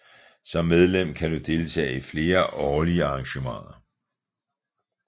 Som medlem kan du deltage i flere årlige arrangementer